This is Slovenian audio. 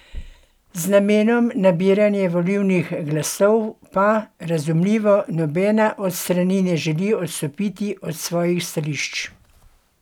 Z namenom nabiranja volilnih glasov pa, razumljivo, nobena od strani ne želi odstopiti od svojih stališč.